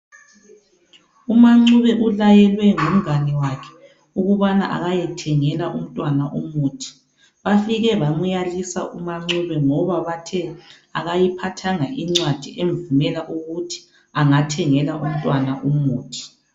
UMaNcube ulayelwe ngumngane wakhe ukubana akayethengela umuthi. Bafike bamuyalisa uMaNcube ngoba bathe akayiphathanga incwadi emvumela ukuthi angathengela umntwana umuthi.